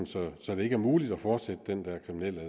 så så det ikke er muligt at fortsætte den der kriminelle